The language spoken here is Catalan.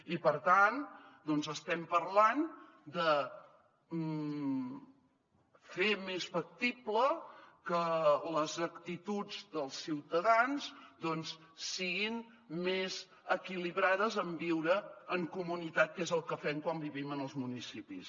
i per tant doncs estem parlant de fer més factible que les actituds dels ciutadans doncs siguin més equilibrades en viure en comunitat que és el que fem quan vivim en els municipis